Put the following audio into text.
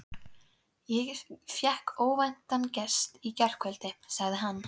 Ég fékk óvæntan gest í gærkvöldi, sagði hann.